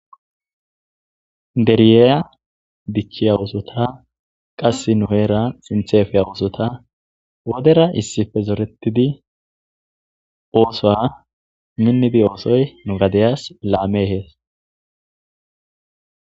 Deriyeya dichchiya wosota qass nu7eera sinthefiya wosota wodera issife zoretidi oosoa minnidi oosoy nu gadeyas laame hees.